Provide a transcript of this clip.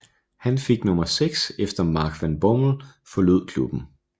Han fik nummer 6 efter Mark van Bommel forlod klubben